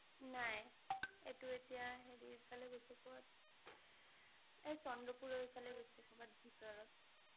নাই এইটো এতিয়া হেৰী ফালে গৈছে কত। এ কচন্দ্ৰপুৰৰ সেইফালে গৈছে কৰবাত ভিতৰত